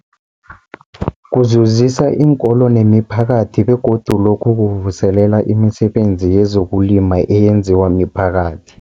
Kuzuzisa iinkolo nemiphakathi begodu lokhu kuvuselela imisebenzi yezokulima eyenziwa miphakathi.